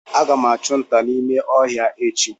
Aga m achụ nta n’ime ọhịa echi